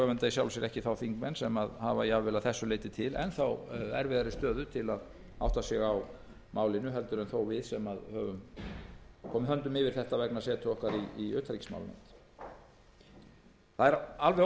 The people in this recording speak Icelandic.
í sjálfu sér ekki þá þingmenn sem hafa jafnvel að þessu leyti til enn erfiðari stöðu til að átta sig á málinu en við sem þó höfum komið höndum yfir þetta vegna setu okkar í utanríkismálanefnd óhjákvæmilegt